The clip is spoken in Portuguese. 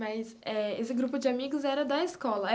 Mas eh esse grupo de amigos era da escola?